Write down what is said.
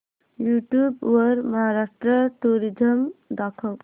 YouTube वर Maharashtra tourism दाखव